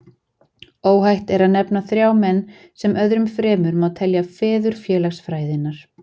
Óhætt er að nefna þrjá menn, sem öðrum fremur má telja feður félagsfræðinnar.